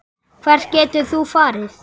Hvert getur þú farið?